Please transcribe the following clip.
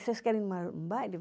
Vocês querem ir em um baile?